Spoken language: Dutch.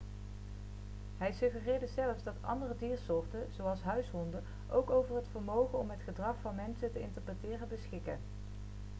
hij suggereerde zelfs dat andere diersoorten zoals huishonden ook over het vermogen om het gedrag van mensen te interpreteren beschikken